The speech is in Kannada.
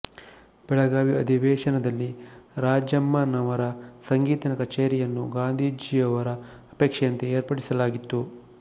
ಬೆಳಗಾವಿ ಅಧಿವೇಶನದಲ್ಲಿ ರಾಜಮ್ಮನವರ ಸಂಗೀತ ಕಚೇರಿಯನ್ನು ಗಾಂಧೀಜಿಯವರ ಅಪೇಕ್ಷೆಯಂತೆ ಏರ್ಪಡಿಸಲಾಗಿತ್ತು